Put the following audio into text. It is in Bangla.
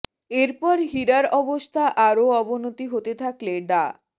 এর পর হীরার অবস্থা আরও অবনতি হতে থাকলে ডা